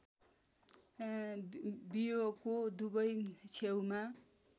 बियोको दुवै छेउमा